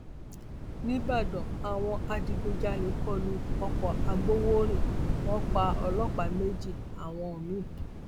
níbàdàn àwọn adigunjalè kó lu ọkọagbọwọrìn wọn pa ọlọpàá méjì àwọn mi